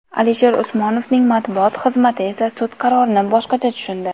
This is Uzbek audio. Alisher Usmonovning matbuot xizmati esa sud qarorini boshqacha tushundi.